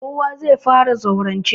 Kowa zai fara gane zaurance.